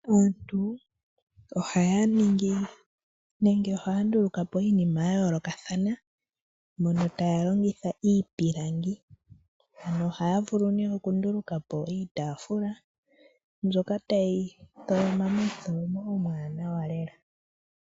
Aantu ohaya ningi nenge ohaya nduluka po iinima ya yoolokathana mono taya longitha iipilangi. Ohaya vulu okunduluka po iitafula mbyoka tayi tholomwa momu tholomo omu wanawa lela.